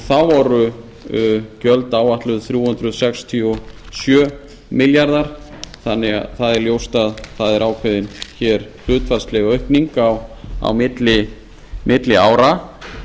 þá voru gjöld áætluð þrjú hundruð sextíu og sjö milljarðar þannig að það er ljóst að það er ákveðin hér hlutfallsleg aukning á milli ára